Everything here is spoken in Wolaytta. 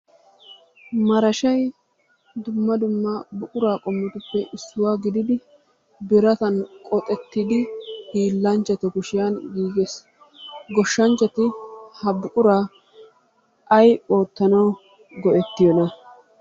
Marashshay, dumma dumma buqura qommotuppe issuwa gididi biratan qoxxettidi hiilanchchatu kushiyaan giiggees. Goshshanchchati ha buqura ay oottanaw go"ettoyoona?